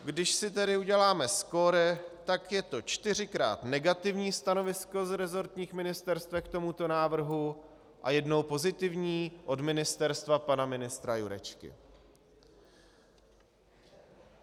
Když si tedy uděláme skóre, tak je to čtyřikrát negativní stanovisko z resortních ministerstev k tomuto návrhu a jednou pozitivní od ministerstva pana ministra Jurečky.